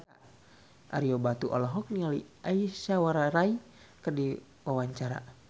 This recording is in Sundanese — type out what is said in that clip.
Ario Batu olohok ningali Aishwarya Rai keur diwawancara